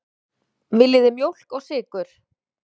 Viljið þið mjólk og sykur?